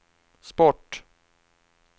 sport